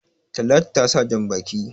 Talatu ta sa jan-baki.